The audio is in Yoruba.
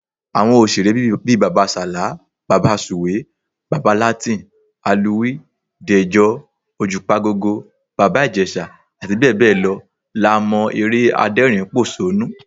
Àwọn òṣèré bíi Bàbá Sàlá, Bàbá Sùwé, Bàbá Latin, Alúwẹ̀ẹ́, Dẹ̀jọ, Òjùpagogo, Bàbá Ìjẹ̀ṣà, abbl. la mọ́ eré adẹ́rìnínpòṣónú